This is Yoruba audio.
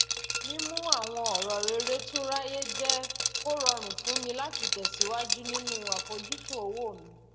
mímú àwọn ọrọ rere tún ráyé jẹ kó rọrùn fún mi láti tẹsíwájú nínú àfojúsùn owó mi